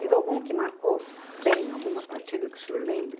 Teve algum que marcou bem, alguma partida que o senhor lembre?